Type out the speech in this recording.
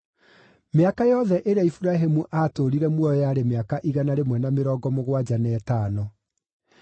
Mĩaka yothe ĩrĩa Iburahĩmu aatũũrire muoyo yarĩ mĩaka igana rĩmwe na mĩrongo mũgwanja na ĩtano.